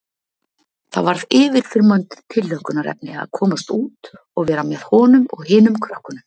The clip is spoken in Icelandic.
Það varð yfirþyrmandi tilhlökkunarefni að komast út og vera með honum og hinum krökkunum.